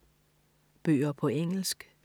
Bøger på engelsk